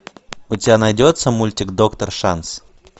у тебя найдется мультик доктор шанс